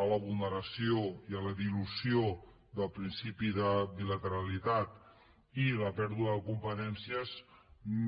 a la vulneració i a la dilució del principi de bilateralitat i la pèrdua de competències no